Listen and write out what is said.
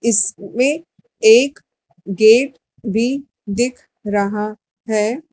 इसमें एक गेट भी दिख रहा है।